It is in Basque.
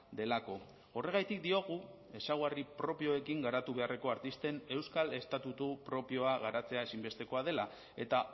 delako horregatik diogu ezaugarri propioekin garatu beharreko artisten euskal estatutu propioa garatzea ezinbestekoa dela eta